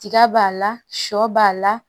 Tiga b'a la sɔ b'a la